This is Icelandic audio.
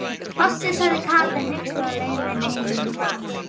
Fossi, sagði Kata hneyksluð á leiðinni heim í mat.